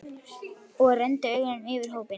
Og renndi augunum yfir á hópinn.